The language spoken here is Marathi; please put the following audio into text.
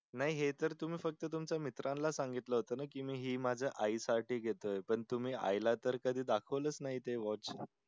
नाही हे तर तुम्ही फक्त तुमच्या मित्राला सांगितलं होत ना कि मी हे माझ्या आई साठी घेतलं होत पण तुम्ही आई ला तर कधी दाखवलं नाही ते watch